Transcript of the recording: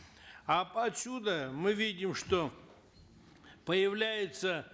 а отсюда мы видим что появляется